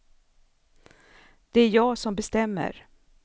Det är jag som bestämmer.